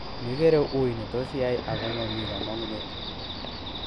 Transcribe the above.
megere ui netos iyai ago momi komomgunet